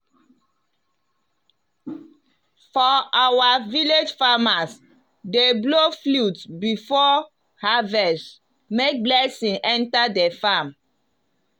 for our village farmers dey blow flute before harvest make blessing enter the farm.